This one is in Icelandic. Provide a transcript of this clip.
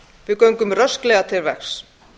við göngum rösklega til verks